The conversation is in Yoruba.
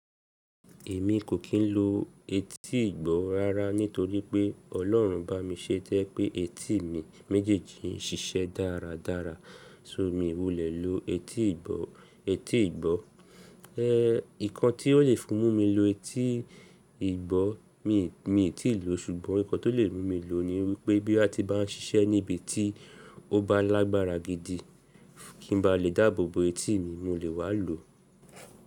Èmi kò kì í lo etí ìgbọ́ rárá nítorí pé Ọlọ́run bá mi ṣé tó jẹ́ pé etí mi méjèèjì ń ṣiṣẹ́ dáradára so mi wulẹ̀ lo etí ìgbọ́. Etí ìgbọ́, nǹkan tí ó le fi mú mi lo etí ìgbọ́ mi i mi i ti lò ṣùgbọ́n nǹkan tó lè mú mi lò ni wípé bóyá ti bá ń ṣiṣẹ́ níbi tí ó bá lágbára gidi kí n ba lè dáàbò bo etí mi mo lè wá lòó.